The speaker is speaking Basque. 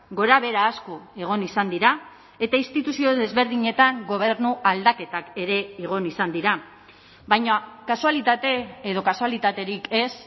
gorabehera asko egon izan dira eta instituzio desberdinetan gobernu aldaketak ere egon izan dira baina kasualitate edo kasualitaterik ez